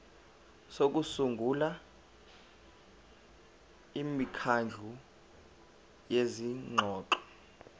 sokusungula imikhandlu yezingxoxo